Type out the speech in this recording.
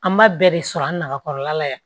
An b'a bɛɛ de sɔrɔ an nakɔrɔla la yan